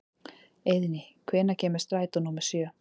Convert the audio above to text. Eiðný, hvenær kemur strætó númer sjö?